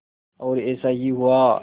और ऐसा ही हुआ